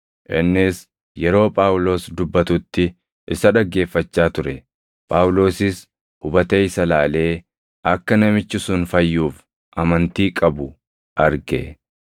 Innis yeroo Phaawulos dubbatutti isa dhaggeeffachaa ture; Phaawulosis hubatee isa ilaalee akka namichi sun fayyuuf amantii qabu arge;